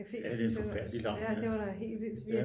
Café ja det var da helt vildt